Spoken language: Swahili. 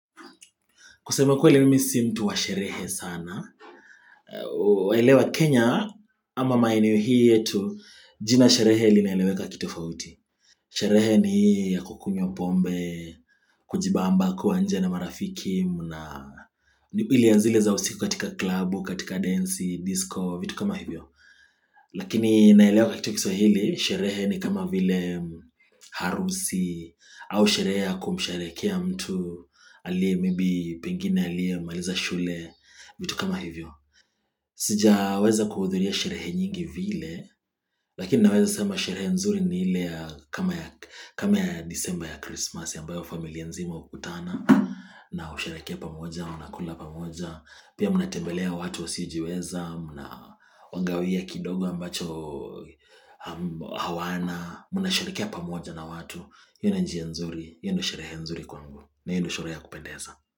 Kuseme kweli mimi si mtu wa sherehe sana. Waelewa Kenya ama maeneo hii yetu jina sherehe linaeleweka kito fauti. Sherehe ni ya kukunywa pombe, kujibamba kuwa nje na marafiki. Ilia zile za usiku katika klabu, katika densi, disco, vitu kama hivyo. Lakini naelewa katika kiswahili sherehe ni kama vile harusi. Au sherehe ya kumsherekea mtu. Alie maybe pengine aliye maliza shule. Vitu kama hivyo. Sija weza kuhudhuria sherehe nyingi vile. Lakini naweza sema sherehe nzuri ni ile kama ya disemba ya Christmas. Ambayo familia nzima hukutana. Na husherekea pamoja, mnakula pamoja. Pia mnatembelea watu wa siojiweza. Mnawagawia kidogo ambacho hawana. Mna sherekea pamoja na watu. Ina njia nzuri. Hio ndio sherehe nzuri kwa ngu. Na hio ndo sherehe ya kupendeza.